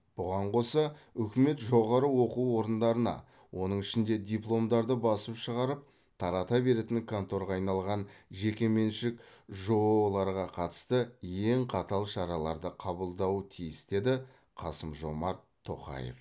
бұған қоса үкімет жоғары оқу орындарына оның ішінде дипломдарды басып шығарып тарата беретін конторға айналған жекеменшік жоо ларға қатысты ең қатал шараларды қабылдауы тиіс деді қасым жомарт тоқаев